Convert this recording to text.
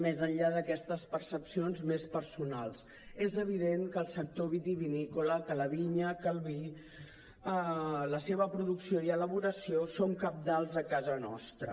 més enllà d’aquestes percepcions més personals és evident que el sector vitivinícola que la vinya que el vi la seva producció i elaboració són cabdals a casa nostra